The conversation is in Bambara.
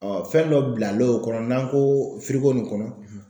fɛn dɔ bilalo o kɔnɔ n'an ko firiko nin kɔnɔ.